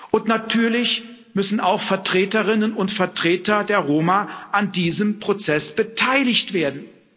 Und natürlich müssen auch Vertreterinnen und Vertreter der Roma an diesem Prozess beteiligt werden.